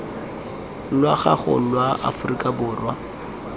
lwa gago lwa aforika borwa